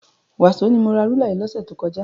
Wàsó ni mo ra rúlà yìí lọ́sẹ̀ tó kọjá.